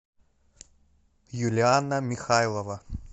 юлианна михайлова